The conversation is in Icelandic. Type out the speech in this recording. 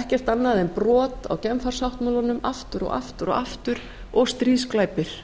ekkert annað en brot á genfarsáttmálanum aftur og aftur og aftur og stríðsglæpir